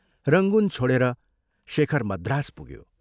Rangoon छोडेर शेखर मद्रास पुग्यो।